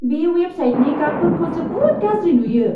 बे वेबसाइटनि गाबफोरखौ जोबोद गाज्रि नुयो।